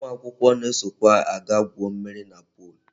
Ụmụ akwụkwọ na-esokwa aga gwuo mmiri na pol.